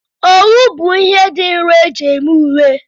Owu bụ ihe dị nro eji eme uwe.